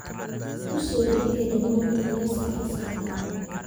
Ku soo celiya dhammaan kuraastii fasalka